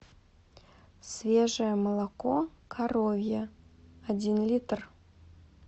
свежее молоко коровье один литр